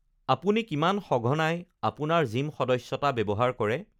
আপুনি কিমান সঘনাই আপোনাৰ জিম সদস্যতা ব্যৱহাৰ কৰে?